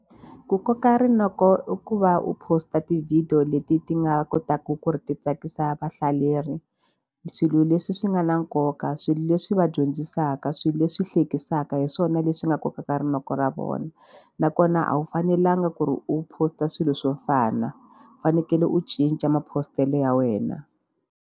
Ku koka rinoko i ku va u post a ti-video leti ti nga kotaka ku ri ti tsakisa vahlaleri swilo leswi swi nga na nkoka swilo leswi va dyondzisaka, swilo leswi hleketisaka hi swona leswi nga kokaka rinoko ra vona nakona a wu fanelanga ku ri u post-a swilo swo fana u fanekele u cinca ma post-ele ya wena.